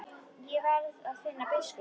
Ég verð að finna biskup!